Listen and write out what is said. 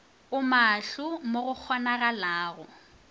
o maahlo mo go kgonagalago